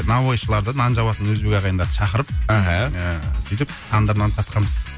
наубайшыларды нан жабатын өзбек ағайындарды шақырып аха ыыы сөйтіп тандыр нан сатқанбыз